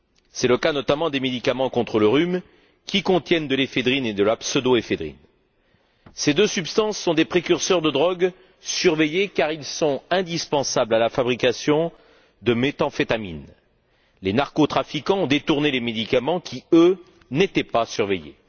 C'est le cas notamment des médicaments contre le rhume, qui contiennent de l'éphédrine et de la pseudo éphédrine. Ces deux substances sont des précurseurs de drogues surveillés car ils sont indispensables à la fabrication de méthamphétamines. Les narcotrafiquants ont détournés les médicaments qui, eux, n'étaient pas surveillés.